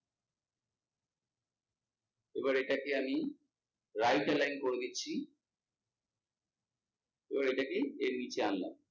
এবার এটাকে আমি right align করে দিচ্ছি, এবার এটাকে এর নিচে আনলাম